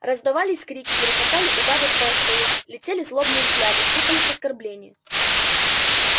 раздавались крики грохотали удары по столу летели злобные взгляды сыпались оскорбления